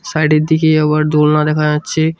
Side -এর দিকে আবার দোলনা দেখা যাচ্ছে।